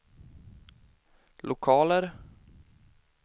lokaler